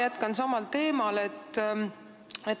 Jätkan samal teemal.